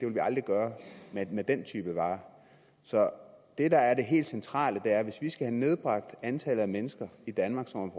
vi aldrig gøre med den type varer så det der er det helt centrale er at hvis vi skal have nedbragt antallet af mennesker i danmark som